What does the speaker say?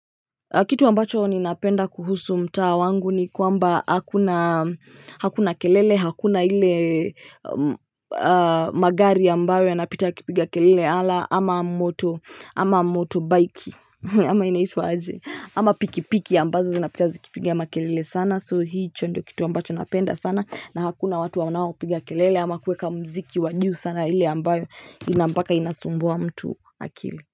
Kitu ambacho ninapenda kuhusu mtaa wangu ni kwamba hakuna kelele, hakuna ile magari ambayo yanapita yakipiga kelele ama motorbike. Ama inaitwa je, ama pikipiki ambazo zinapita zikipiga makelele sana, so hiki ndicho kitu ambacho napenda sana, na hakuna watu wanaopiga kelele au kuweka muziki wao sana, ile ambayo ina mpaka inasumbua akili ya mtu.